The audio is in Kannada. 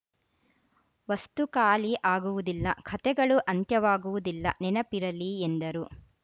ವಸ್ತು ಖಾಲಿ ಆಗುವುದಿಲ್ಲ ಕಥೆಗಳು ಅಂತ್ಯವಾಗುವುದಿಲ್ಲ ನೆನಪಿರಲಿ ಎಂದರು